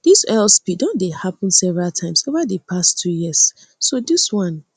dis oil spill don dey happun several times over di past two years so dis one